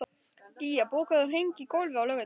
Gía, bókaðu hring í golf á laugardaginn.